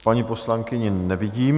Paní poslankyni nevidím...